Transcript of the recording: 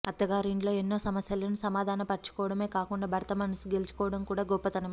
అత్తగారింట్లో ఎన్నో సమస్యలను సమాధాన పరచుకోవడమే కాకుండా భర్త మనసు గెలుచుకోవడం కూడా గొప్పతనమే